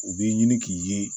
U b'i ɲini k'i ye